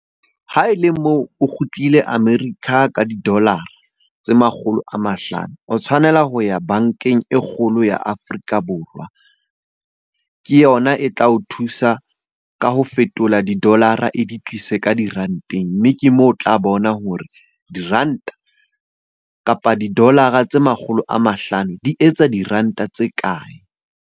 Ha e le moo o kgutlile America ka di-dollar-ra tse makgolo a mahlano, o tshwanela ho ya bankeng e kgolo ya Afrika Borwa. Ke yona e tla o thusa ka ho fetola di-dollar-ra e di tlise ka diranteng. Mme ke moo o tla bona hore diranta kapa di-dollar-ra tse makgolo a mahlano di etsa diranta tse kae?